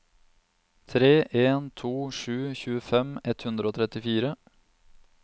tre en to sju tjuefem ett hundre og trettifire